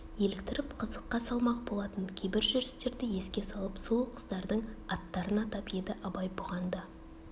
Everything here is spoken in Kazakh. еліктіріп қызыққа салмақ болатын кейбір жүрістерді еске салып сұлу қыздардың аттарын атап еді абай бұған да